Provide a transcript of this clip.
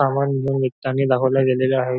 सामान घेऊन निघतानी दाखवला गेलेले आहे.